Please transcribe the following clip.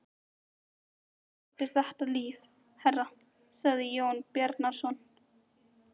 Líf er eftir þetta líf, herra, sagði Jón Bjarnason.